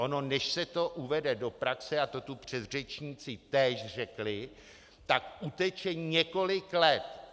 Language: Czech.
Ono než se to uvede do praxe, a to tu předřečníci též řekli, tak uteče několik let.